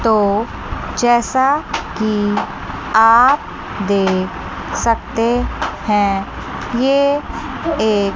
तो जैसा कि आप देख सकते हैं ये एक--